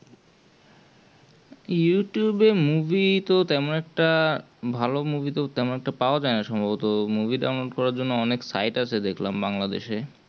youtube তো তেমন একটা তেমন একটা ভালো movie পাওয়া যায় না সম্ভবত movie download করার জন্য অনেক site আছে দেখলাম Bangladesh এ